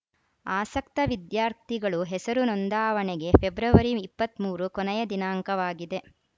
ಆಸಕ್ತ ವಿದ್ಯಾರ್ಥಿಗಳು ಹೆಸರು ನೊಂದಾವಣೆಗೆ ಫೆಬ್ರವರಿ ಇಪ್ಪತ್ತ್ ಮೂರು ಕೊನೆಯ ದಿನಾಂಕವಾಗಿದೆ